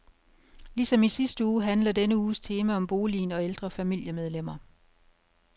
Ligesom i sidste uge handler denne uges tema om boligen og ældre familiemedlemmer.